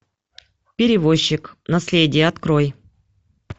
перевозчик наследие открой